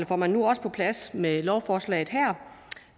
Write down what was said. får man nu også på plads med lovforslaget her